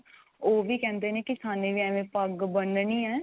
ਉਹ ਵੀ ਕਹਿੰਦੇ ਨੇ ਕੀ ਸਾਨੇ ਵੀ ਐਵੇਂ ਪੱਗ ਬੰਨਣੀ ਏ